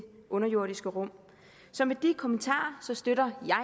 underjordiske rum så med de kommentarer støtter jeg